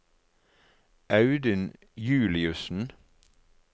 Audun Juliussen